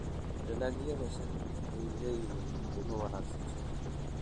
Dalagyada shaaha waxay leeyihiin qiimo wanaagsan suuqa.